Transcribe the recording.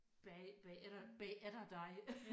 Bag bagefter bagefter dig